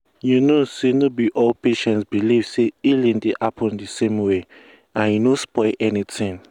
you know say no be all patients believe say healing dey happen the same way and e no spoil anything.